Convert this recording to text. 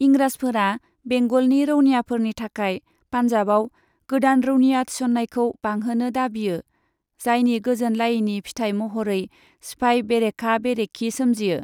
इंराजफोरा बेंगलनि रौनियाफोरनि थाखाय पान्जाबाव गोदान रौनिया थिसननायखौ बांहोनो दाबियो, जायनि गोजोनलायैनि फिथाइ महरै सिफाइ बेरेखा बेरेखि सोमजियो।